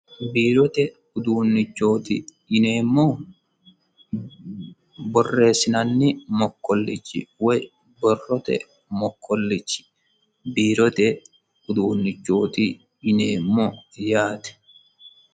Biirote uduunnichoti yineemmohu borreessinanni mokkolichi woyi borrote mokkolichi biirote uduunnichoti yineemmo yaate.